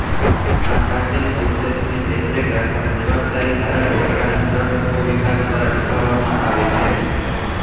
આ પ્રાચીન અવશેષની દેખરેખ રાખવાની જવાબદારી ભારત સરકારના પુરાતત્વ વિભાગ દ્વારા નિભાવવામાં આવે છે